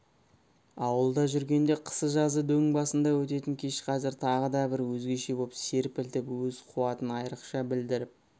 ауылда жүргенде қысы-жазы дөң басында ететін кеш қазір тағы да бір өзгеше боп серпілтіп өз қуатын айрықша білдіріп